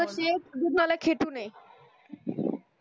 तशे खेटून ये